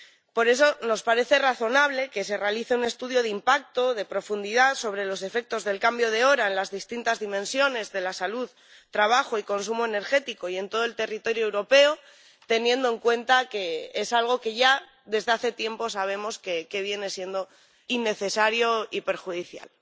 Por eso, nos parece razonable que se realice un estudio de impacto, de profundidad, sobre los efectos del cambio de hora en las distintas dimensiones de la salud, el trabajo y el consumo energético, y en todo el territorio europeo, teniendo en cuenta que es algo que ya desde hace tiempo sabemos que viene siendo innecesario y perjudicial.